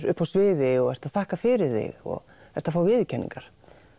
upp á sviði og ert að þakka fyrir þig og ert að fá viðurkenningar